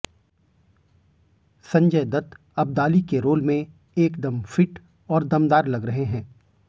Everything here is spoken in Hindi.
संजय दत्त अब्दली के रोल में एकदम फिट और दमदार लग रहे हैं